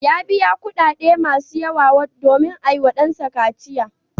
Ya biya kuɗaɗe masu yawa domin a yiwa ɗansa kaciya.